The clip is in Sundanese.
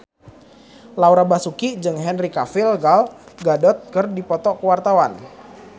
Laura Basuki jeung Henry Cavill Gal Gadot keur dipoto ku wartawan